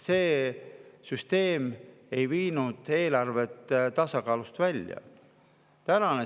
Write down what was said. See süsteem ei viinud eelarvet tasakaalust välja.